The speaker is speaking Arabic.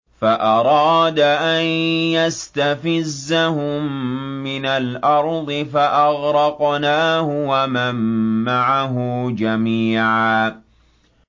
فَأَرَادَ أَن يَسْتَفِزَّهُم مِّنَ الْأَرْضِ فَأَغْرَقْنَاهُ وَمَن مَّعَهُ جَمِيعًا